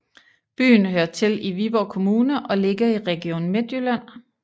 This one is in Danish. Byen hører til Viborg Kommune og ligger i Region Midtjylland